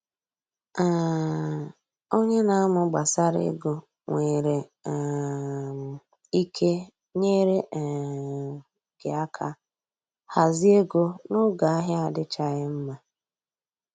um Onye na amụ gbasara ego nwere um ike nyere um gị aka hazie ego n’oge ahịa adịchaghị mma